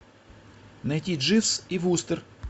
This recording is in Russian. найти дживс и вустер